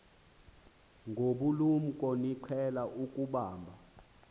ngobulumko niqhel ukubamb